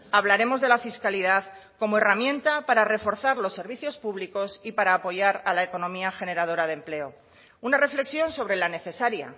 hablaremos de la fiscalidad como herramienta para reforzar los servicios públicos y para apoyar a la economía generadora de empleo una reflexión sobre la necesaria